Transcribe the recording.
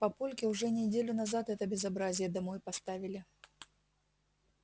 папульке уже неделю назад это безобразие домой поставили